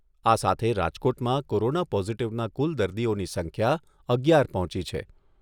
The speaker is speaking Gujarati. આ સાથે રાજકોટમાં કોરોના પોઝિટિવના કુલ દર્દીઓની સંખ્યા અગિયાર પહોંચી છે.